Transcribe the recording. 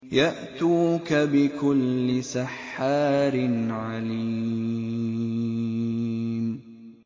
يَأْتُوكَ بِكُلِّ سَحَّارٍ عَلِيمٍ